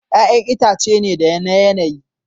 Ya'yan itãcen ne da yanayi.